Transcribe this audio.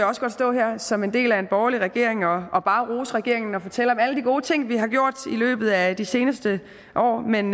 også godt stå her som en del af en borgerlig regering og og bare rose regeringen og fortælle om alle de gode ting vi har gjort i løbet af de seneste år men